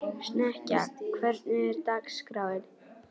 Snekkja, hvernig er dagskráin?